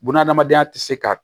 Bunahadamadenya tɛ se ka